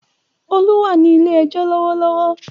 Olú wà ní ilé-ẹjọ́ lọ́wọ́lọ́wọ́.